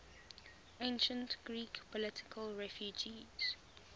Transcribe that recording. ancient greek political refugees